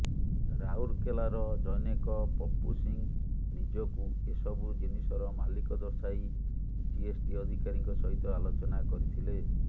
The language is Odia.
ରାଉରକେଲାର ଜନୈକ ପପୁ ସିଂ ନିଜକୁ ଏସବୁ ଜିିନିଷର ମାଲିକ ଦର୍ଶାଇ ଜିଏସ୍ଟି ଅଧିକାରୀଙ୍କ ସହିତ ଆଲୋଚନା କରିଥିଲେ